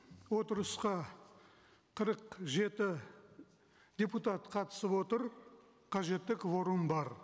отырысқа қырық жеті депутат қатысып отыр қажетті кворум бар